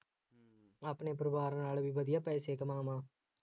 ਆਪਣੇ ਪਰਿਵਾਰ ਨਾਲ ਵੀ ਵਧੀਆ ਪੈਸੇ ਕਮਾਵਾਂ